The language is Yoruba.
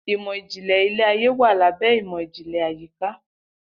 Imọ-jinlẹ ile-aye wa labẹ imọ-jinlẹ ayika